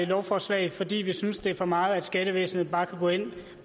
lovforslag fordi vi synes det er for meget at skattevæsenet bare kan gå ind